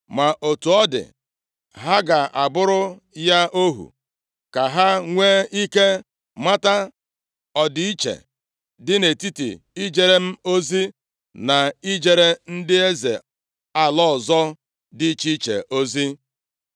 Ma otu ọ dị, ha ga-abụrụ ya ohu, ka ha nwe ike mata ọ dị iche dị nʼetiti ijere m ozi na ijere ndị eze ala ọzọ dị iche iche ozi.”